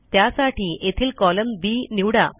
त्यासाठी येथील column B निवडा